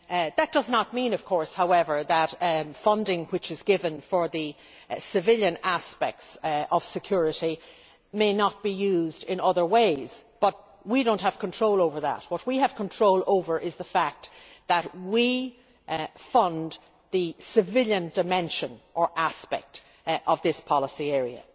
That does not mean, however, that funding which is given for the civilian aspects of security may not be used in other ways, but we do not have control over that. What we have control over is the fact that we fund the civilian dimension and aspect of this policy area.